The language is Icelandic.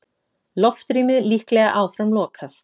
Loftrýmið líklega áfram lokað